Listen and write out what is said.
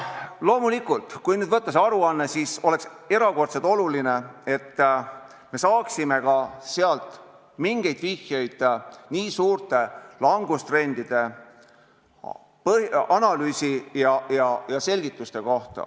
Loomulikult oleks erakordselt oluline, et me saaksime sealt aruandest mingeid vihjeid ka suurte langustrendide analüüsi kohta ja selgitusi.